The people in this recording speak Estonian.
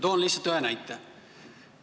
Toon lihtsalt ühe näite.